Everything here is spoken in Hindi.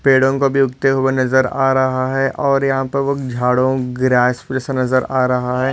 पेड़ों को भी उगते हुए नजर आ रहा है और यहा पर वो झाड़ों ग्रास जैसा नजर आ रहा है।